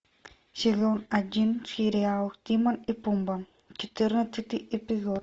сезон один сериал тимон и пумба четырнадцатый эпизод